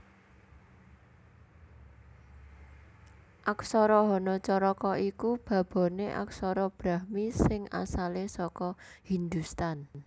Aksara Hanacaraka iku baboné aksara Brahmi sing asalé saka Hindhustan